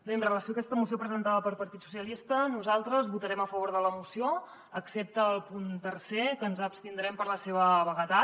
bé amb relació a aquesta moció presentada pel partit socialistes nosaltres votarem a favor de la moció excepte al punt tercer que ens abstindrem per la seva vaguetat